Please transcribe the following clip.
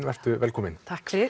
vertu velkomin